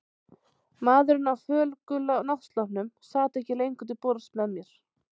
Maðurinn á fölgula náttsloppnum sat ekki lengur til borðs með mér.